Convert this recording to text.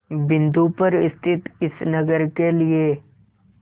बिंदु पर स्थित इस नगर के लिए